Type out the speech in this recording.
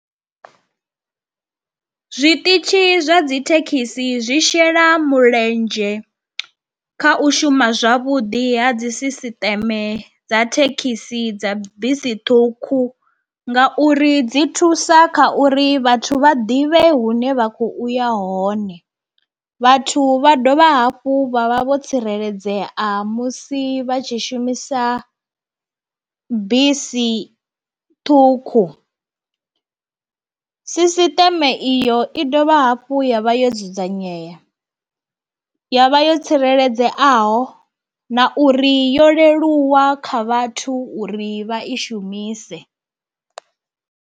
Zwiṱitshi zwa dzi thekhisi zwi shela mulenzhe kha u shuma zwavhuḓi ha dzi sisiṱeme dza thekhisi, dza bisi ṱhukhu ngauri dzi thusa kha uri vhathu vha ḓivhe hune vha kho uya hone. Vhathu vha dovha hafhu vha vha vho tsireledzea musi vha tshi shumisa bisi ṱhukhu. Sisiṱeme iyo i dovha hafhu ya vha yo dzudzanyea, ya vha yo tsireledzeaho na uri yo leluwa kha vhathu uri vha i shumise.